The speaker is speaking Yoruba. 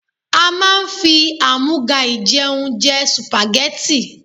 A máa ń fi àmúga-ìjẹun jẹ Sùpàgẹ́tì.